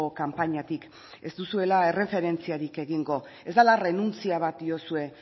kanpainatik ez duzuela erreferentziarik egingo ez dela errenuntzia bat diozu